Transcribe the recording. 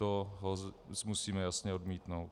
To musíme jasně odmítnout.